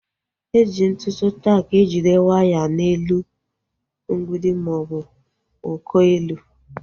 Eji ntụ tak ejide waya n'elu mgbidi maọbụ uko ụlọ